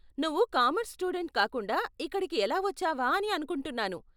నువ్వు commerce student కాకుండా ఇక్కడకి ఎలా వచ్చావా అని అనుకుంటున్నాను.